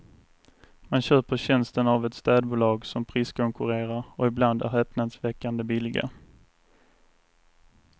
Man köper tjänsten av städbolag som priskonkurrerar och ibland är häpnadsväckande billiga.